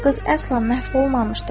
Qız əsla məhv olmamışdır.